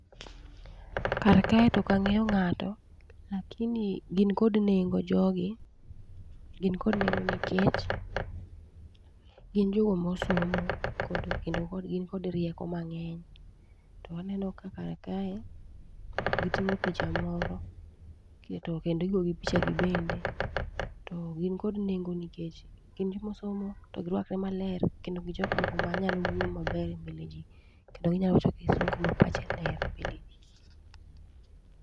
Karkae tokang'eyo ng'ato, lakini gin kod nengo jogi. Gin kod nengo nikech gin jogo mosomo kendo kod gin kod rieko mang'eny. To waneno ka kar kae, giting'o picha moro, to kendo igogi picha gibende. To gin kod nengo nikech gin jomosomo to girwakore maler, kendo gijok moko manyalo wuoyo maber e mbele ji. Kendo ginyawacho kisungu ma pache ler e mbele ji.